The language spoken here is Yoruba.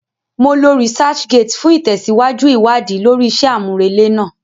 Mo lo researchgate fún ìtẹ̀síwájú ìwádìí lórí iṣẹ́ àmúrelé náà